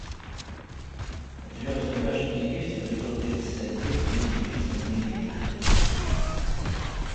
у тебя в загашнике есть эпизод тридцать один две девицы на мели